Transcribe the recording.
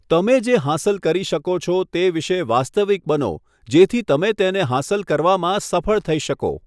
તમે જે હાંસલ કરી શકો છો તે વિશે વાસ્તવિક બનો જેથી તમે તેને હાંસલ કરવામાં સફળ થઈ શકો.